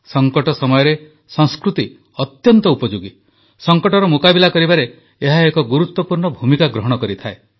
ସଙ୍କଟ ସମୟରେ ସଂସ୍କୃତି ଅତ୍ୟନ୍ତ ଉପଯୋଗୀ ସଙ୍କଟର ମୁକାବିଲା କରିବାରେ ଏହା ଏକ ଗୁରୁତ୍ୱପୂର୍ଣ୍ଣ ଭୂମିକା ଗ୍ରହଣ କରିଥାଏ